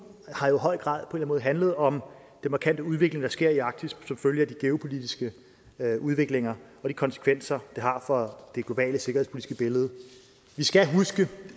har jo i høj grad handlet om den markante udvikling der sker i arktis som følge af de geopolitiske udviklinger og de konsekvenser det har for det globale sikkerhedspolitiske billede vi skal huske